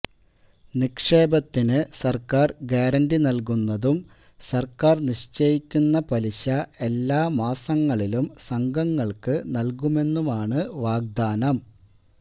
നിക്ഷേപത്തിന് സര്ക്കാര് ഗ്യാരന്റി നല്കുന്നതും സര്ക്കാര് നിശ്ചയിക്കുന്ന പലിശ എല്ലാ മാസങ്ങളിലും സംഘങ്ങള്ക്ക് നല്കുമെന്നുമാണ് വാഗ്ദാനം